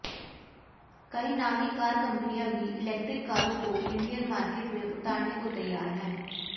कई नामी कार कंपनियां भी इलेक्ट्रिक कारों को इंडियन मार्केट में उतारने को तैयार हैं